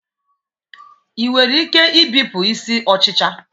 Ị nwere ike ibipụ isi ọchịcha